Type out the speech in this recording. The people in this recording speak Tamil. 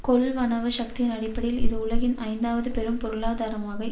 கொள்வனவு சக்தியின் அடிப்படையில் இது உலகின் ஐந்தாவது பெரும் பொருளாதாரமாக